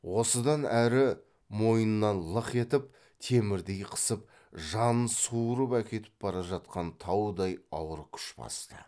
осыдан әрі мойыннан лық етіп темірдей қысып жанын суырып әкетіп бара жатқан таудай ауыр күш басты